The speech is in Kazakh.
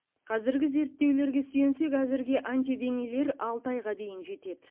қазіргі зерттеулерге сүйенсек әзірге антиденелер алты айға дейін жетеді